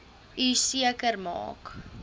u seker maak